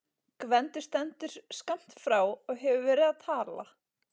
Gvendur stendur skammt frá og hefur verið að tala.